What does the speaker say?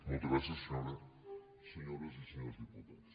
moltes gràcies senyores i senyors diputats